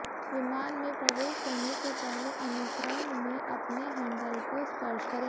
विमान में प्रवेश करने से पहले अनुक्रम में अपने हैंडल को स्पर्श करें